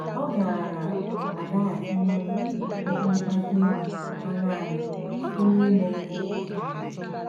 Ọ gaara azaghachiworị okwu mkpasu iwe ha nanị site n’ime ihe ike.